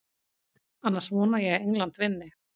Annars vona ég að England vinni.